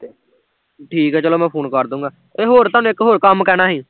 ਠੀਕ ਐ ਚਲੋ ਮੈਂ ਫੂਨ ਕਰਦੂਗਾ, ਤੇ ਹੋਰ ਥੋਨੂੰ ਇੱਕ ਹੋਰ ਕੰਮ ਕਹਿਣਾ ਸੀ